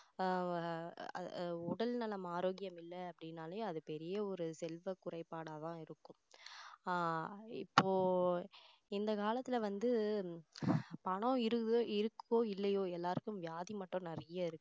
ஆஹ் உடல்நலம் ஆரோக்கியம் இல்லை அப்படின்னாலே அது பெரிய ஒரு செல்வ குறைபாடா தான் இருக்கும் ஆஹ் இப்போ இந்த காலத்துல வந்து பணம் இரு~ இருக்கோ இல்லையோ எல்லாருக்கும் வியாதி மட்டும் நிறைய இருக்கு